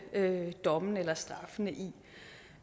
dommene eller straffene i